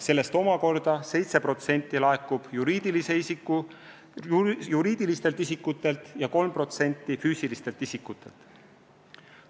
Sellest omakorda 7% laekub juriidilistelt isikutelt ja 3% füüsilistelt isikutelt.